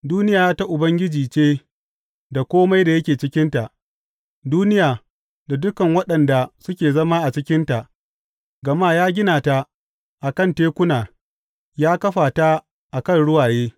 Duniya ta Ubangiji ce da kome da yake cikinta, duniya, da dukan waɗanda suke zama a cikinta; gama ya gina ta a kan tekuna ya kafa ta a kan ruwaye.